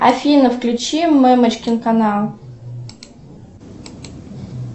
афина включи мамочкин канал